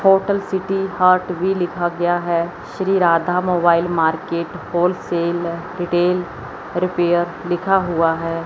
Hotel city heart भी लिखा गया है Shri Radha mobile market wholesale retail repair लिखा हुआ है।